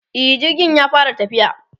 e jirgin ya fara tafiya